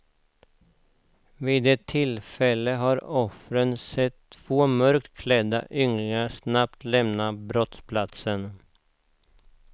Vid ett enda tillfälle har offren sett två mörkt klädda ynglingar snabbt lämna brottsplatsen.